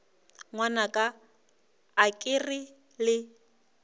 ngwanaka a ke re le